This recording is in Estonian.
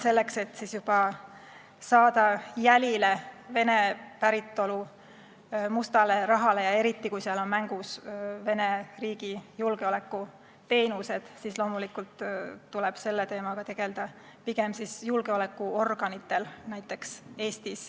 Selleks, et saada jälile Vene päritolu mustale rahale, eriti kui seal on mängus Vene riigi julgeolekuteenistused, tuleb selle teemaga Eestis tegelda pigem näiteks julgeolekuorganitel.